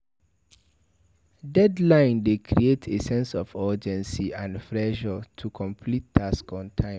Deadline dey create a sense of urgency and pressure to complete task on time